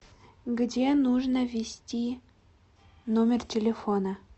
где нужно ввести номер телефона